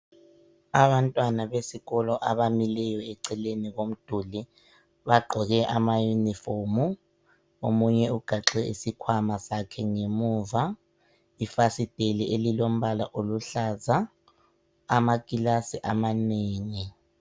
Abantwana besikolo abamileyo eceleni bagqoke ama uniform. Omunye ugaxe isikhwama sakhe ngemuva, ifasiteli elilombala oluhlaza amakilasi amanengi.